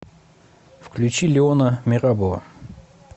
включи леона мерабова